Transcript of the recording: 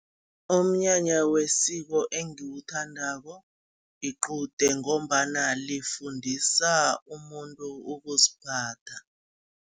Umnyanya wesiko engiwuthandako, liqude ngombana lifundisa umuntu ukuziphatha.